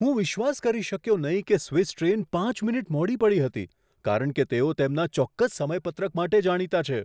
હું વિશ્વાસ કરી શક્યો નહીં કે સ્વિસ ટ્રેન પાંચ મિનિટ મોડી પડી હતી કારણ કે તેઓ તેમના ચોક્કસ સમયપત્રક માટે જાણીતા છે.